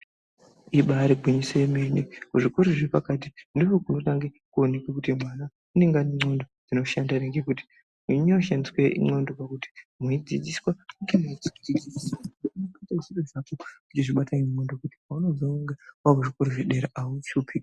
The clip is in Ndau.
Ibaari gwinyiso remene kuzvikora zvepakati ndiko kunotanga kuoneka kuti mwana unenge ane nxlondo dzinoshanda ere ngekuti kunonyanye kushandiswe nxlondo pakuti mweidzidziswa zviro zvepashi xhlondo dzinosisa kubata yaamho zvekuti paanozonde dera nechikora azoshupi pakuzwisisa kwake.